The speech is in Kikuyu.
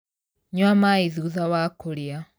Nyua maĩthutha wa kũrĩa.